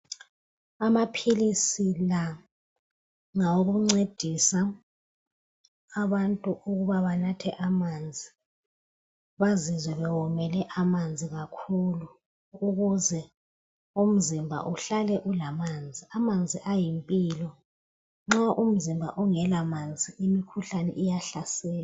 Amapilisi la ngawokuncedisa abantu ukuba banathe amanzi, bazizwe bewomele amanzi kakhulu. ukuze umzimba uhlale ulamanzi. Amanzi ayimphilo. Nxa umzimba ungela manzi umkhuhlane uyahlasela.